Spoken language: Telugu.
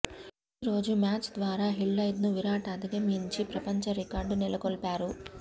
ఈ రోజు మ్యాచ్ ద్వారా హిల్డ్రెత్ను విరాట్ అధిగమించి ప్రపంచ రికార్డు నెలకొల్పాడు